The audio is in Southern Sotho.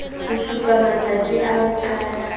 supa matstasi a ho qala